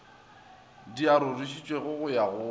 di arošitšwego go ya go